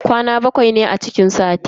Kwana bakwai ne a cikin sati.